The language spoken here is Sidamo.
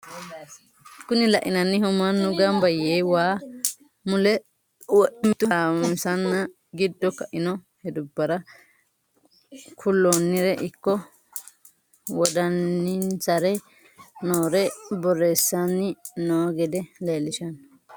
Kuni lainnanni manni gamba yee waa mule wodhe mitu hasawnsa giddo kainno hedubara kullonire ikko wodaninsara noore borressanni noo gede leellishshanno.